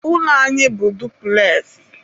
ụlọ anyị bụ dupules.